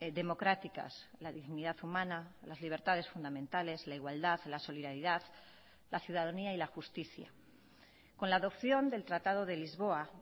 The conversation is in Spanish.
democráticas la dignidad humana las libertades fundamentales la igualdad la solidaridad la ciudadanía y la justicia con la adopción del tratado de lisboa